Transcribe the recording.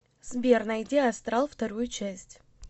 сбер найди астрал вторую часть